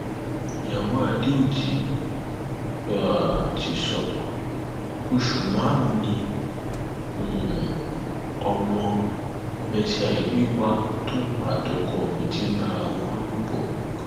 ìwà ọdájú àti àìláàánú aráàlú ni bíjọba eko um ṣe fẹẹ sí tòògẹẹtì lèkì padàbòde um george